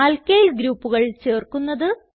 alkyl ഗ്രൂപ്പുകൾ ചേർക്കുന്നത്